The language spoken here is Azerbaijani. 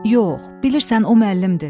Yox, bilirsən o müəllimdir.